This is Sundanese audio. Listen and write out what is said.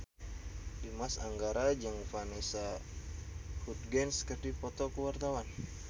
Dimas Anggara jeung Vanessa Hudgens keur dipoto ku wartawan